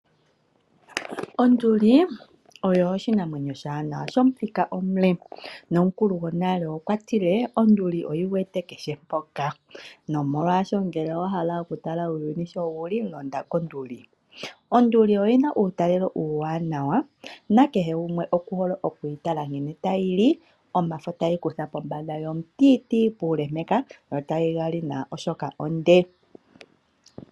Onduli oyo oshinamwenyo oshiwanawa shomuthika omule nomukulu gonale okwa tile onduli oyi wete kehe pwamwe. Nomolwasho ngele owa hala okutala uuyuni shi wu li, londa konduli. Onduli oyi na uutalelo uuwaanawa, nakehe gumwe okuhole okuyi tala uuna tayi li omafo tayi kutha pombanda yomutiitii puule, yo tayi ga li nawa, oshoka onde.